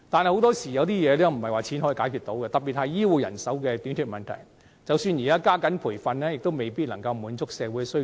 可是，很多事情並非用錢可以解決，特別是醫護人手短缺的問題，即使現時加緊培訓，亦未必可以滿足社會需求。